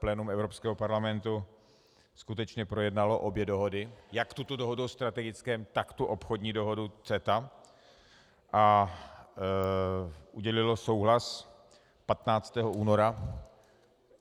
Plénum Evropského parlamentu skutečně projednalo obě dohody, jak tuto dohodu o strategickém, tak tu obchodní dohodu CETA, a udělilo souhlas 15. února.